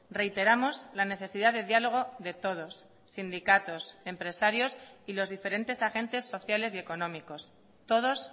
reiteramos la necesidad de diálogo de todos sindicatos empresarios y los diferentes agentes sociales y económicos todos